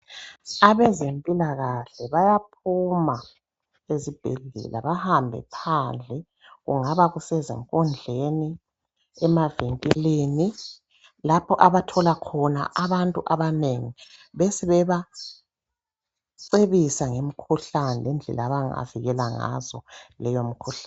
Abezempila kahle bayaphuma ezibhedlela bahambe phandle kungaba kusezikondlweni, emavinkilini lapho abathola khona abantu abanengi besebacebisa ngemikhuhlane lendlela abanga vikela ngazo leyo mikhuhlane